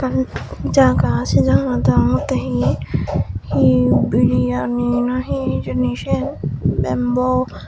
yen jaga sey jaganot degongotttey hi hi biriani na hi hijeni siyen bembo.